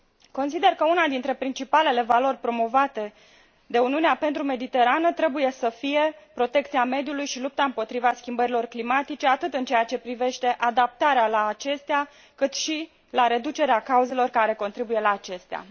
Consider că una dintre principalele valori promovate de Uniunea pentru Mediterană trebuie să fie protecția mediului și lupta împotriva schimbărilor climatice, atât în ceea ce privește adaptarea la acestea, cât și reducerea cauzelor care contribuie la acestea.